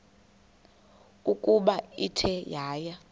ukuba ithe yaya